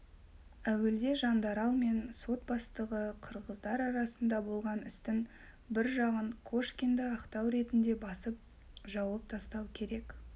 әуелде жандарал мен сот бастығы қырғыздар арасында болған істің бір жағын кошкинді ақтау ретінде басып жауып тастау керек